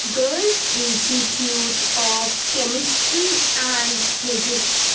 Institute of Chemistry and Physics.